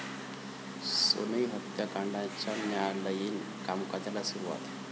सोनई हत्याकांडाच्या न्यायालयीन कामकाजाला सुरूवात